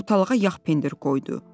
Ortalağa yağ pendir qoydu.